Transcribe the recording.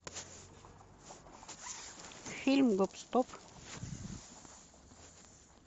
фильм гоп стоп